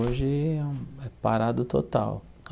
Hoje é um é parado total.